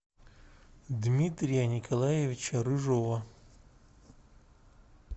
дмитрия николаевича рыжова